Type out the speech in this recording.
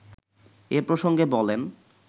এ প্রসঙ্গে বলেন